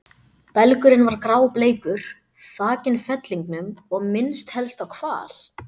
Belgurinn var grábleikur, þakinn fellingum og minnti helst á hval.